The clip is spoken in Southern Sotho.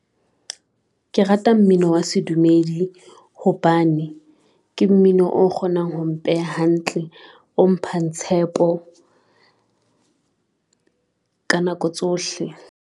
Ke rata mmino wa sedumedi hobane ke mmino o kgonang ho mpeha hantle, o mphang tshepo ka nako tsohle.